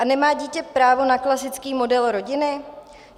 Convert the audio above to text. A nemá dítě právo na klasický model rodiny?